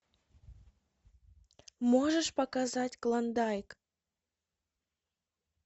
можешь показать клондайк